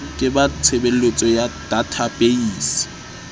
ke ba tshebeletso ya databeise